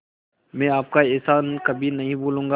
मैं आपका एहसान कभी नहीं भूलूंगा